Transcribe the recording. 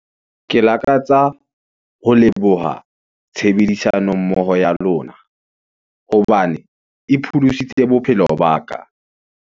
Ke lakatsa ho leboha tshebedisano mmoho ya lona, hobane e pholositse bophelo ba ka.